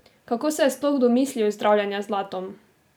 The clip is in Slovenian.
Kako se je sploh domislil zdravljenja z zlatom?